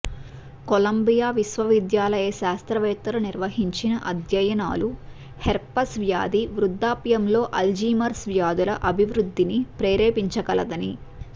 Colombia విశ్వవిద్యాలయ శాస్త్రవేత్తలు నిర్వహించిన అధ్యయనాలు హెర్పెస్ వ్యాధి వృద్ధాప్యంలో అల్జీమర్స్ వ్యాధుల అభివృద్ధిని ప్రేరేపించగలదని